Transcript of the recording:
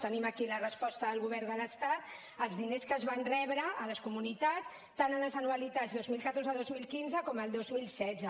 tenim aquí la resposta del govern de l’estat els diners que es van rebre a les comunitats tant a les anualitats dos mil catorze dos mil quinze com el dos mil setze